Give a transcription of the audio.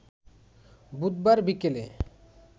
বুধবার বিকেলে